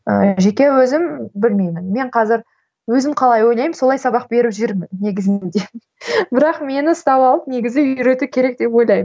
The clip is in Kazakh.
ыыы жеке өзім білмеймін мен қазір өзім қалай ойлаймын солай сабақ беріп жүрмін негізінде бірақ мені ұстап алып негізі үйрету керек деп ойлаймын